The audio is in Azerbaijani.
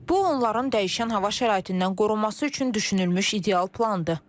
Bu onların dəyişən hava şəraitindən qorunması üçün düşünülmüş ideal plandır.